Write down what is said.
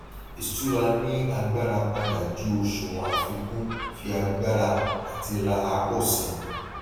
ìṣúra ní agbára padà ju òṣùwòn àfikún fi agbára àti rà pọ sí i